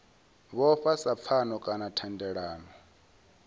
vhofha sa pfano kana thendelano